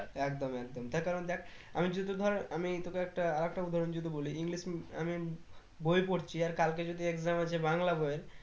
একদম একদম তার কারণ দেখ আমি যদি ধর আমি তোকে একটা আরেকটা উদাহরণ যদি বলি english উম আমি বই পড়ছি আর কালকে যদি exam আছে বাংলা বইয়ের